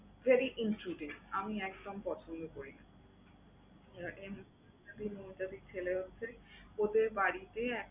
Very আমি একদম পছন্দ করি না। এই মৌমিতা দি, মৌমিতাদির ছেলে হচ্ছে ওদের বাড়িতেই